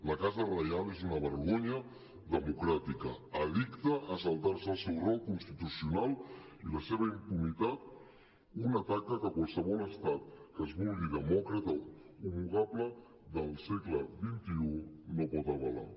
la casa reial és una vergonya democràtica addicta a saltar se el seu rol constitucional i la seva impunitat una taca que qualsevol estat que es vulgui demòcrata homologable al segle xxi no pot avalar